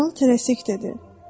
Kral tərəsik dedi: